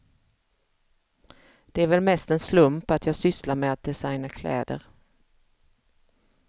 Det är väl mest en slump att jag sysslar med att designa kläder.